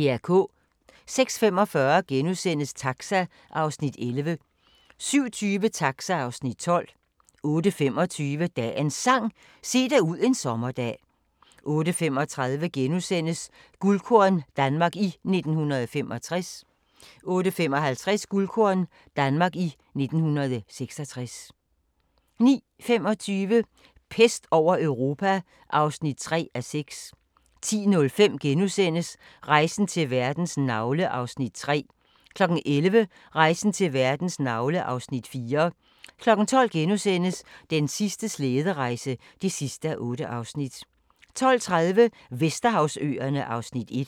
06:45: Taxa (Afs. 11)* 07:20: Taxa (Afs. 12) 08:25: Dagens Sang: Se dig ud en sommerdag 08:35: Guldkorn - Danmark i 1965 * 08:55: Guldkorn – Danmark i 1966 09:25: Pest over Europa (3:6) 10:05: Rejsen til verdens navle (Afs. 3)* 11:00: Rejsen til verdens navle (Afs. 4) 12:00: Den sidste slæderejse (8:8)* 12:30: Vesterhavsøerne (Afs. 1)